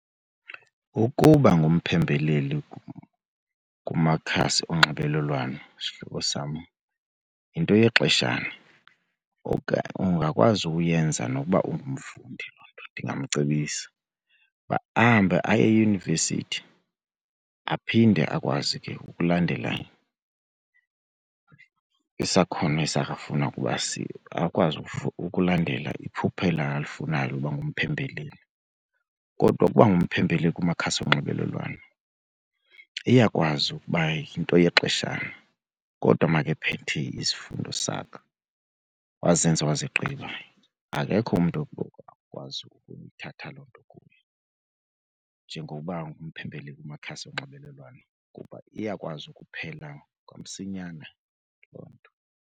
Ukuba ngumphembeleli kumakhasi onxibelelwano sihlobo sam yinto yexeshana , ungakwazi ukuyenza nokuba ungumfundi. Loo nto ndingamcebisa ukuba ahambe aye eyunivesithi aphinde akwazi ke ukulandela isakhono sakhe afuna ukuba , akwazi ukulandela iphupha elo alifunayo ukuba ngumphembeleli. Kodwa ukuba ngumphembeleli kumakhasi onxibelelwano iyakwazi ukuba yinto yexeshana kodwa makephethe izifundo zakhe wazenza wazigqiba, akekho umntu ongakwazi ukuyithatha loo nto kuye. Njengokuba ngumphembeleli kumakhasi onxibelelwano kuba iyakwazi ukuphela kwamsinyane loo nto.